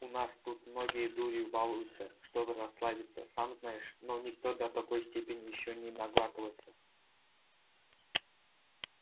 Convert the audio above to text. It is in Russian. у нас тут многие дурью балуются чтобы расслабиться сам знаешь но никто до такой степени ещё не наглатывался